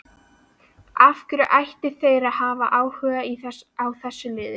Af hverju ættu þeir að hafa áhuga á þessu liði?